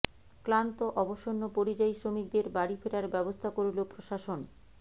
ক্লান্ত অবসন্ন পরিযায়ী শ্রমিকদের বাড়ি ফেরার ব্যবস্থা করল প্রশাসন